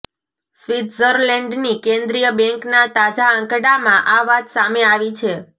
સ્વિટ્ઝરલેન્ડની કેન્દ્રીય બેન્કના તાજા આંકડામાં આ વાત સામે આવી છે